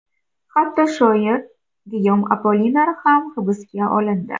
Hatto shoir Giyom Appoliner ham hibsga olindi.